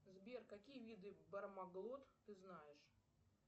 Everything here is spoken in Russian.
сбер какие виды бармаглот ты знаешь